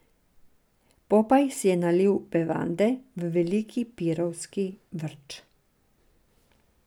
Popaj si je nalil bevande v veliki pirovski vrč.